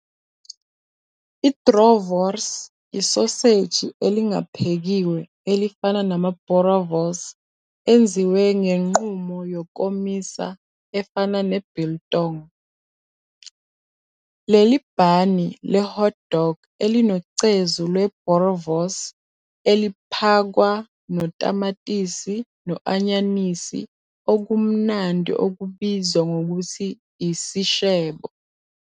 I-Droë wors isoseji elingaphekiwe elifana nama-boerewors enziwe ngenqubo yokomisa efana ne-biltong. Leli bhani le-hot dog "elinocezu lwe-boerewors, eliphakwa" notamatisi no-anyanisi okumnandi okubizwa ngokuthi i-seshebo.